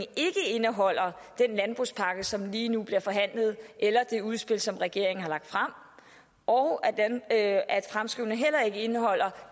ikke indeholder den landbrugspakke som lige nu bliver forhandlet eller det udspil som regeringen har lagt frem og at at fremskrivningen heller ikke indeholder